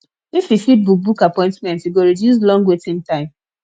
if we fit book book appointment e go reduce long waiting time